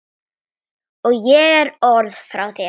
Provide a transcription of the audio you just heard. Og ekki orð frá þér!